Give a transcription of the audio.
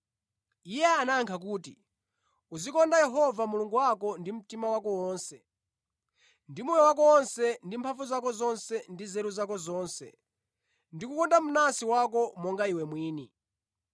Iye anayankha kuti, “Uzikonda Yehova Mulungu wako ndi mtima wako wonse, ndi moyo wako wonse, ndi mphamvu zako zonse ndi nzeru zako zonse, ndi kukonda mnansi wako monga iwe mwini.”